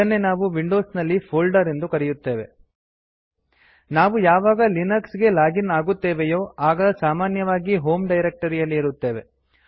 ಇದನ್ನೇ ನಾವು ವಿಂಡೊಸ್ ನಲ್ಲಿ ಫೋಲ್ಡರ್ ಎಂದು ಕರೆಯುತ್ತೇವೆ